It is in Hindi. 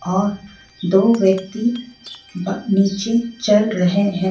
और दो व्यक्ति ब निचे चल रहे है.